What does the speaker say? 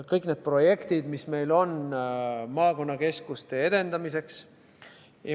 Kõik need projektid, mis meil on maakonnakeskuste edendamiseks.